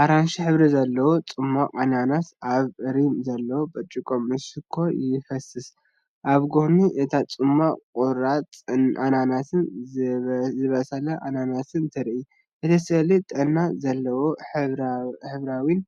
ኣራንሺ ሕብሪ ዘለዎ ጽማቝ ኣናናስ ኣብ ሪም ዘለዎ ብርጭቆ ምስ ሽኮር ይፈስስ። ኣብ ጎኒ እቲ ጽማቝ፡ ቁራጽ ኣናናስን ዝበሰለ ኣናናስን ትርኢ። እቲ ስእሊ ጥዕና ዘለዎን ሕብራዊን